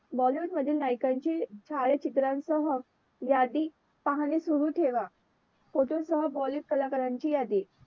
bollywood मधील नायकांची छायाचित्रे सह यादी पाहणे सुरु ठेवा फोटोसह bollywood कलाकारांची यादी